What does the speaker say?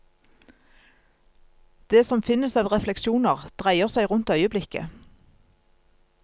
Det som finnes av refleksjoner, dreier seg rundt øyeblikket.